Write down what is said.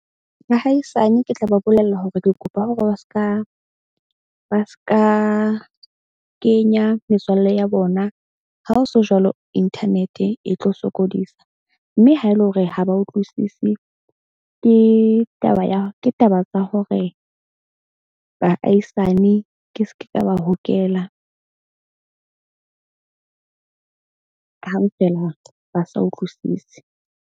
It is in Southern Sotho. Bahaisane ke tla ba bolella hore ke kopa hore ba ska kenya metswalle ya bona. Ha o so jwalo, internet-e e tlo sokodisa. Mme ha ele hore ha ba utlwisisi ke taba ya, ke taba tsa hore baahisane ke ske ka ba hokela hang fela ba sa utlwisise.